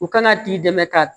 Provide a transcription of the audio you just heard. U kana t'i dɛmɛ ka